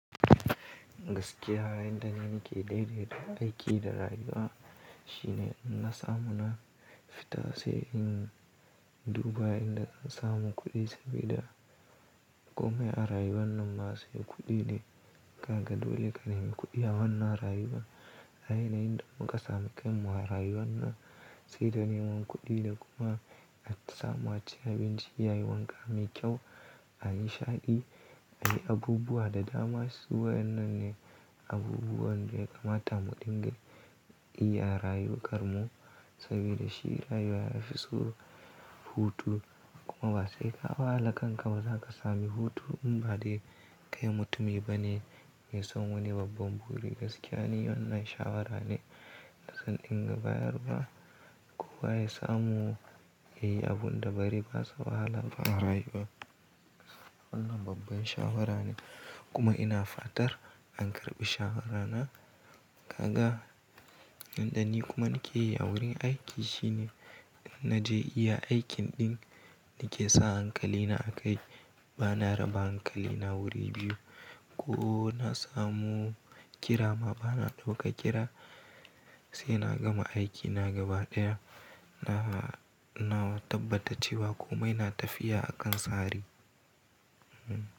Gaskiya, inda nake daidaita aiki da rayuwa shine in na samu na fita sai in duba inda zan samu kuɗi sabida komai a rayuwan nan ma sai kuɗi ne. Kaga dole ka nemi kuɗi a wannan rayuwa. A ina inda muka samu kam war rayuwan nan sai da neman kuɗi da kuma attsamaci abinci yayi wanka mai kyau a yi shaƙi. Anyi abubuwa da dama su waennan ne abubuwan da ya kamata mu dinga yi a rayuƙar mu saboda shi rayuwa yafi so hutu kuma ba sai ka wahala kanka ba zaka sami hutu in ba dai kai mutumi bane mai son wani babban buri. Gaskiya ni wannan shawara ne da zan dinga bayarwa kowa ya samu yayi abun da bare basa wahala ba wallahi kuwa. Wannan babban shawara ne kuma ina fatar an karɓi shawarana. Kaga inda ni kuma nikeyi a wurin aiki shine in naje iya aikin ɗin nake sa hankalina a kai bana raba hankalina wuri biyu ko na samu ƙira ma bana ɗauka ƙira sai na gama aiki na gaba ɗaya na, na tabbata cewa komai na tafiya akan tsari. Hmm.